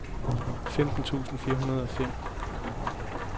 femten tusind fire hundrede og fem